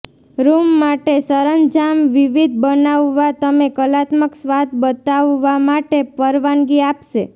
room માટે સરંજામ વિવિધ બનાવવા તમે કલાત્મક સ્વાદ બતાવવા માટે પરવાનગી આપશે